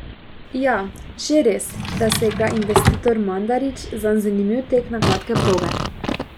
Ja, že res, da se gre investitor Mandarić zanj zanimiv tek na kratke proge.